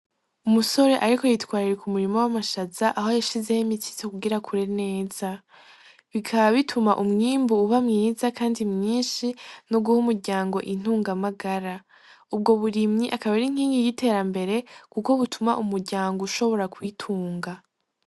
Umusore, ariko yitwarira ku murimo w'amashaza aho yashizeho imitsitso kugira kure neza bikaba bituma umwimbu uba mwiza, kandi mwinshi no guha umuryango intungamagara ubwo burimyi akabera inkingi giterambere, kuko butuma umuryango ushobora kwitunga.